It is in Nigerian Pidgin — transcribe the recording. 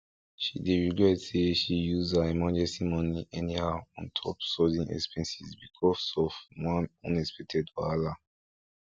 she dey regret say she use her emergency money anyhow on top sudden expenses because of one unexpected wahala